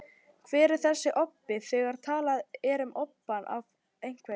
Hver er þessi obbi, þegar talað er um obbann af einhverju?